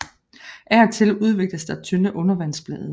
Af og til udvikles der tynde undervandsblade